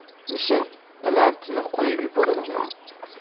Mishel Platini qo‘yib yuborildi.